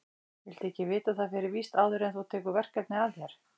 Viltu ekki vita það fyrir víst áður en þú tekur verkefnið að þér?